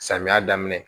Samiya daminɛ